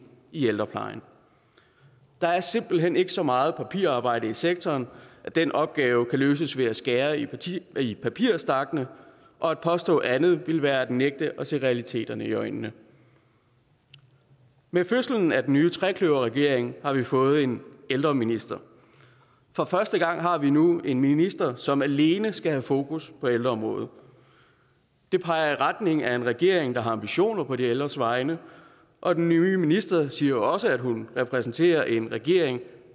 i ældreplejen der er simpelt hen ikke så meget papirarbejde i sektoren at den opgave kan løses ved at skære i i papirstakkene og at påstå andet ville være at nægte at se realiteterne i øjnene med fødslen af den nye trekløverregering har vi fået en ældreminister for første gang har vi nu en minister som alene skal have fokus på ældreområdet det peger i retning af en regering der har ambitioner på de ældres vegne og den nye minister siger jo også at hun repræsenterer en regering